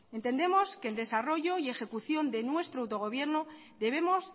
entendemos que en desarrollo y ejecución de nuestro autogobierno debemos